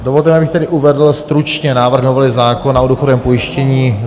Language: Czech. Dovolte mi, abych tedy uvedl stručně návrh novely zákona o důchodovém pojištění.